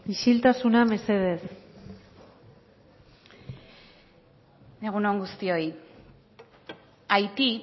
isiltasuna mesedez egun on guztioi haiti